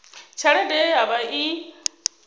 tshelede ye ya vha i